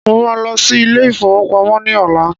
Mo ma lọ sí ilé ìfowópamọ́ ní ọ̀la